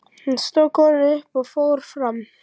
Svo stóð konan upp og fór fram.